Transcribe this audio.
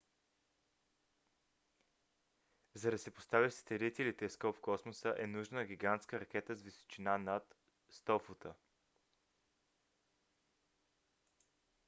за да се постави сателит или телескоп в космоса е нужна гигантска ракета с височина над 100 фута